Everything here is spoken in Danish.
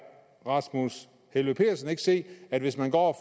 rasmus helveg petersen ikke se at hvis man går